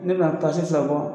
N be na tasi bɔ